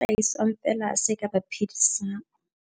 Hlahisang feela se ka ba phedisang.